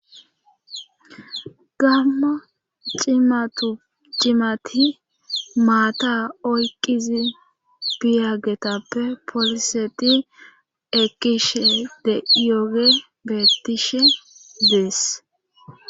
Gamma cimati maata oyqizi biyagetappe poliseti ekishe de'iyogey bettishehe dees